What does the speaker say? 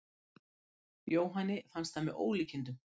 Jóhanni fannst það með ólíkindum.